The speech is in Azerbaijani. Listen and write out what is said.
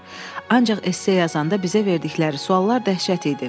Ancaq esse yazanda bizə verdikləri suallar dəhşət idi.